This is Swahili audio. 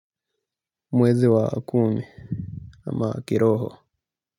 Mwezi wa kumi, ama kiroho.